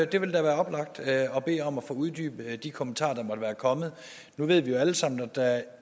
det ville da være oplagt at bede om at få uddybet de kommentarer der måtte være kommet nu ved vi jo alle sammen at der